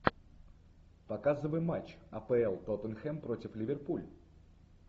показывай матч апл тоттенхэм против ливерпуль